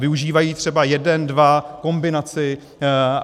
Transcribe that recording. Využívají třeba jeden, dva, kombinaci.